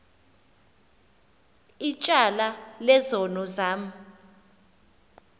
ityala lezono zam